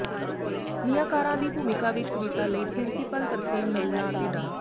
ਨਿਆਂਕਾਰਾਂ ਦੀ ਭੂਮਿਕਾ ਵਿਚ ਕਵਿਤਾ ਲਈ ਪ੍ਰਿੰਸੀਪਲ ਤਰਸੇਮ ਨਰੂਲਾ ਅਤੇ ਡਾ